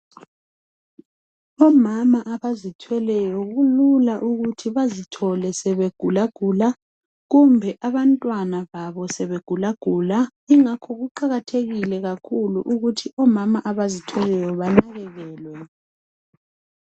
omama abazithweleyo kulula ukuthi bazithole sebegulagula kumbe abantwana babo sebegulagula ingakho kuqakathekile ukuthi omama abazithweleyo banakekelwe